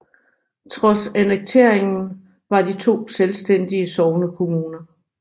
Trods annekteringen var de to selvstændige sognekommuner